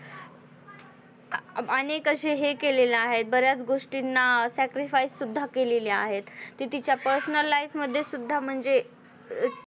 अनेक अशे हे केलेले आहेत बऱ्याच गोष्टींना sacrifice सुद्धा केलेले आहेत ते तिच्या personal life मध्ये सुद्धा म्हणजे अ